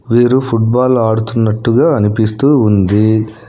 వీరు ఫుట్బాల్ ఆడుతున్నట్టుగా అనిపిస్తూ ఉంది.